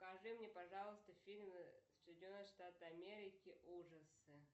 покажи мне пожалуйста фильмы соединенные штаты америки ужасы